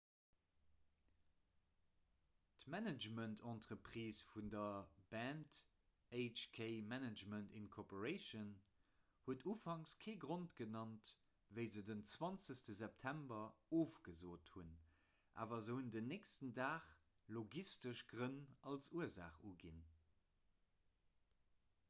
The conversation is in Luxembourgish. d'managemententreprise vun der band hk management inc huet ufangs kee grond genannt wéi se den 20 september ofgesot hunn awer se hunn den nächsten dag logistesch grënn als ursaach uginn